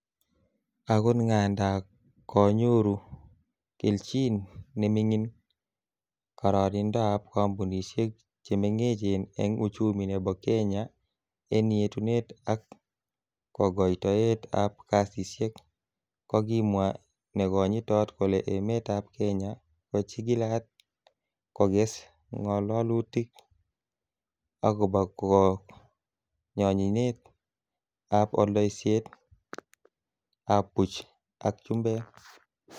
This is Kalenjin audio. Agot ngadan konyoru kelchin nemingin karironindab kompunisiek che mengechen en uchumi nebo Kenya, en yetunet ak kogoitoet ab kasisiek, kokimwa Nekonyitot kole emetab kenya ko chigilat koges ngololutik agobo konyonyinet ab oldeisietab buch ak chumbek.